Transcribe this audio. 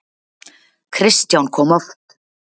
Kristján kom oft.